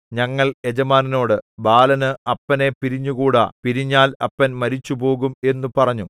ഞങ്ങൾ യജമാനനോട് ബാലന് അപ്പനെ പിരിഞ്ഞുകൂടാ പിരിഞ്ഞാൽ അപ്പൻ മരിച്ചുപോകും എന്നു പറഞ്ഞു